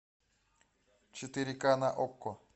четыре к на окко